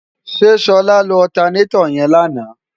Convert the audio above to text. ṣe ṣọlá lo ọtanetọ̀ yẹn lánàá?